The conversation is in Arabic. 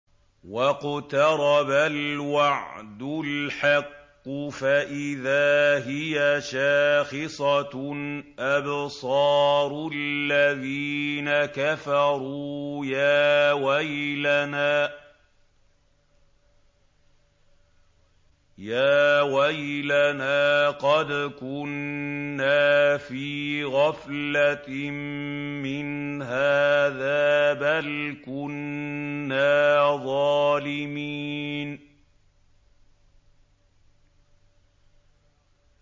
وَاقْتَرَبَ الْوَعْدُ الْحَقُّ فَإِذَا هِيَ شَاخِصَةٌ أَبْصَارُ الَّذِينَ كَفَرُوا يَا وَيْلَنَا قَدْ كُنَّا فِي غَفْلَةٍ مِّنْ هَٰذَا بَلْ كُنَّا ظَالِمِينَ